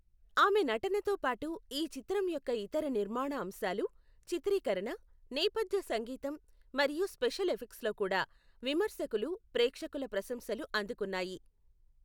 ఆమె నటనతో పాటు, ఈ చిత్రం యొక్క ఇతర నిర్మాణ అంశాలు, చిత్రీకరణ, నేపథ్య సంగీతం, మరియు స్పెషల్ ఎఫెక్ట్స్ కూడా విమర్శకులు, ప్రేక్షకుల ప్రశంసలు అందుకున్నాయి.